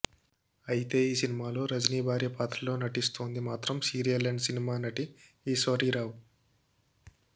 అయితే ఈ సినిమాలో రజనీ భార్య పాత్రలో నటిస్తోంది మాత్రం సీరియల్ అండ్ సినిమా నటి ఈశ్వరీరావు